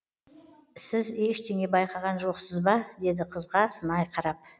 сіз ештеңе байқаған жоқсыз ба деді қызға сынай қарап